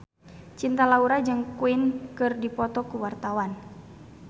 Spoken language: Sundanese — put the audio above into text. Cinta Laura jeung Queen keur dipoto ku wartawan